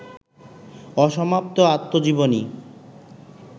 অসমাপ্ত আত্মজীবনী